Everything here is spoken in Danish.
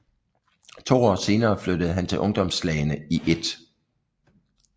To år senere flyttede han til ungdomslagene i 1